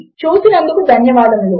చూసినందుకు ధన్యవాదములు